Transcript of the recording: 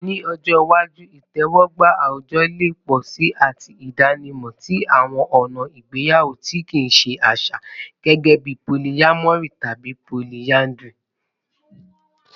Ni ọjọ iwaju, itẹwọgba awujọ le pọ si ati idanimọ ti awọn ọna igbeyawo ti kii ṣe aṣa, gẹgẹbi polyamory tabi polyandry